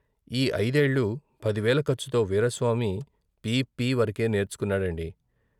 ఈ ఐదేళ్ళు పదివేల ఖర్చుతో వీరాస్వామి పి పి వరకే నేర్చుకొన్నాడండి.